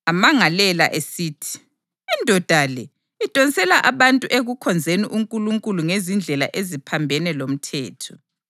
amangalela esithi, “Indoda le idonsela abantu ekukhonzeni uNkulunkulu ngezindlela eziphambene lomthetho.”